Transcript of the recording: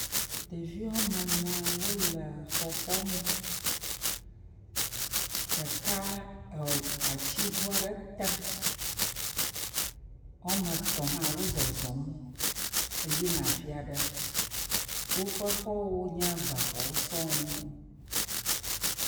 Ɖevi wɔme ene wo le xɔxɔnu. Ɖeka e atiŋu aɖe tem. Wɔme etɔ̃ hã wo zɔzɔm eyina afi aɖe. Woƒe xɔwo nye bexɔwo sɔŋ.